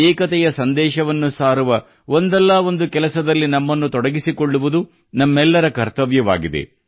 ಏಕತೆಯ ಸಂದೇಶವನ್ನು ಸಾರುವ ಒಂದಲ್ಲ ಒಂದು ಕೆಲಸದಲ್ಲಿ ನಮ್ಮನ್ನು ತೊಡಗಿಸಿಕೊಳ್ಳುವುದು ನಮ್ಮೆಲ್ಲರ ಕರ್ತವ್ಯವಾಗಿದೆ